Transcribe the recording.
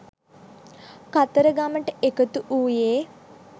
කතරගමට එකතු වූයේ